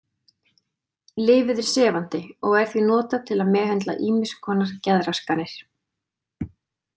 Lyfið er sefandi og er því notað til að meðhöndla ýmiss konar geðraskanir.